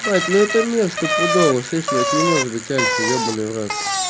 блять да это место сто пудова слыш бля не может быть альфой ебанный в рот